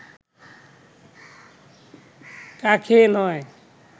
কাকে নয়